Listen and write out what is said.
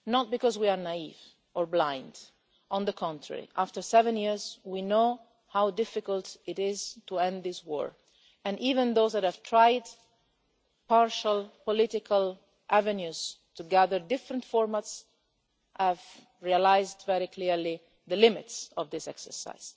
This is not because we are naive or blind on the contrary, after seven years we know how difficult it is to end this war, and even those that have tried partial political avenues to gather different formats have realised very clearly the limits of this exercise.